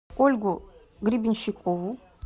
ольгу гребенщикову